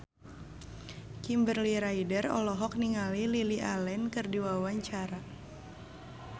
Kimberly Ryder olohok ningali Lily Allen keur diwawancara